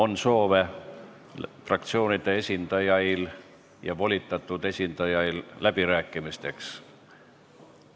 Kas fraktsioonide esindajail ja volitatud esindajail on soovi läbirääkimisteks?